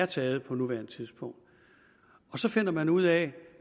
taget på nuværende tidspunkt og så finder man ud af